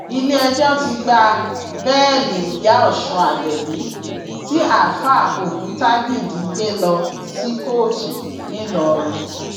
iléẹjọ ti gba bẹẹlì ìyá ọsùn abẹbí tí àáfáà òkútagídí gbé lọ sí kóòtù ńìlọrin